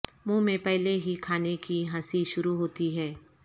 منہ میں پہلے ہی کھانے کی ہنسی شروع ہوتی ہے